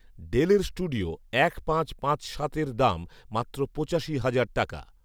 ডেলের স্টুডিও এক পাঁচ পাঁচ সাতে দাম মাত্র পঁচাশি হাজার টাকা